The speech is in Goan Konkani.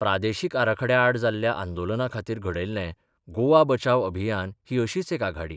प्रादेशीक आराखड्या आड जाल्ल्या आंदोलनाखातीर घडयिल्लें गोवा बचाव अभियान ही अशीच एक आघाडी.